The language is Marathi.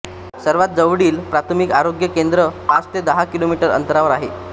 सर्वात जवळील प्राथमिक आरोग्य केंद्र पाच ते दहा किलोमीटर अंतरावर आहे